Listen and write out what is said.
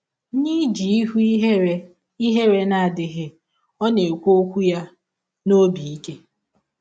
N’iji ihụ ihere ihere na - adịghị, ọ na - ekwụ ọkwụ ya n’ọbi ike.